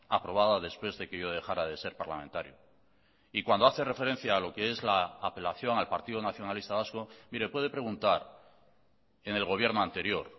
aprobada después de que yo dejara de ser parlamentario y cuando hace referencia a lo que es la apelación al partido nacionalista vasco mire puede preguntar en el gobierno anterior